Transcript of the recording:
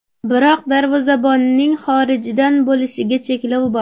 Biroq darvozabonning xorijdan bo‘lishiga cheklov bor.